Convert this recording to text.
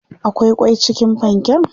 akwai kwai cikin panken?